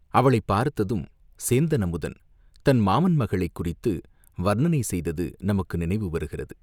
அவளைப் பார்த்ததும் சேந்தன் அமுதன் தன் மாமன் மகளைக் குறித்து வர்ணனை செய்தது நமக்கு நினைவு வருகிறது.